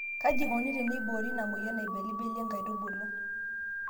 Kaji eikoni teneiboori ina moyian nailibilibie nkaitubulu.